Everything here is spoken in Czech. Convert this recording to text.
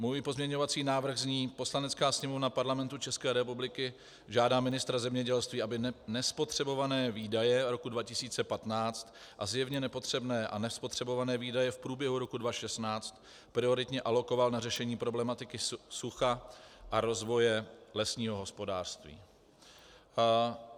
Můj pozměňovací návrh zní: Poslanecká sněmovna Parlamentu České republiky žádá ministra zemědělství, aby nespotřebované výdaje roku 2015 a zjevně nepotřebné a nespotřebované výdaje v průběhu roku 2016 prioritně alokoval na řešení problematiky sucha a rozvoje lesního hospodářství.